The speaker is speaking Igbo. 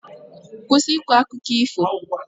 Kwụsị ịkọ akụkọ ifo!